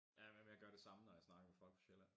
Jamen men jeg gør det samme når jeg snakker med folk fra sjælland